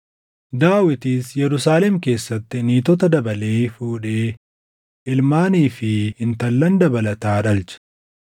Daawitis Yerusaalem keessatti niitota dabalee fuudhee ilmaanii fi intallan dabalataa dhalche.